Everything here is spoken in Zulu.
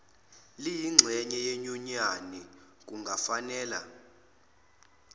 liyingxenye yenyunyani kungafanela